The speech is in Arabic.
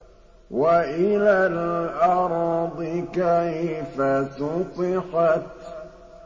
وَإِلَى الْأَرْضِ كَيْفَ سُطِحَتْ